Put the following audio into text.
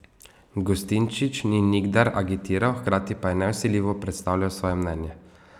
Gustinčič ni nikdar agitiral, hkrati pa je nevsiljivo predstavljal svoje mnenje.